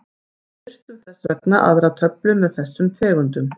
Við birtum þess vegna aðra töflu með þessum tegundum.